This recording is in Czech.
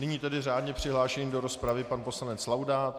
Nyní tedy řádně přihlášený do rozpravy pan poslanec Laudát.